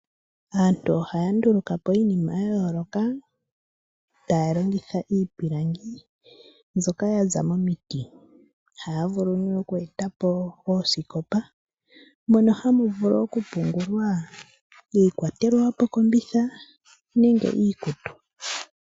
Aantu ohaya ndulukapo iinima yayooloka taya longitha iipilangi mbyoka yaza momiti. Ohaya vulu nee okweeta po oosikopa, mono hamu vulu okupungulwa iikwatelwa yopokombitha nenge iikutu.